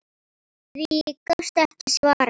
Því gastu ekki svarað.